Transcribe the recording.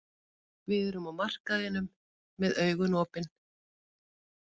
Við erum á markaðinum með augun opin.